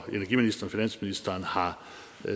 finansministeren har